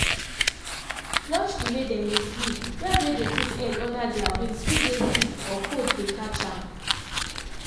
watch the way dem dey sleep- bird way dey put head under their wings fit dey sick or cold dey catch am.